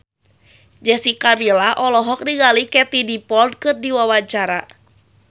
Jessica Milla olohok ningali Katie Dippold keur diwawancara